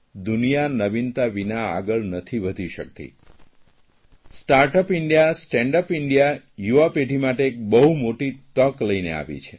દુનિયા નવીનતા વિના આગળ નથી વધી શકતી start up India stand up India યુવા પેઢી માટે એક બહુ મોટી તક લઇને આવી છે